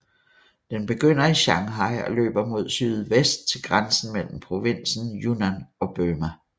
Den begynder i Shanghai og løber mod sydvest til grænsen mellem provinsen Yunnan og Burma